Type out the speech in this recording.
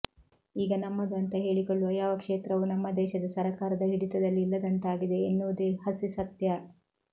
ಈಗ ನಮ್ಮದು ಅಂತ ಹೇಳಿಕೊಳ್ಳುವ ಯಾವ ಕ್ಷೇತ್ರವೂ ನಮ್ಮ ದೇಶದ ಸರಕಾರದ ಹಿಡಿತದಲ್ಲಿ ಇಲ್ಲದಂತಾಗಿವೆ ಎನ್ನುವುದೇ ಹಸಿ ಸತ್ಯ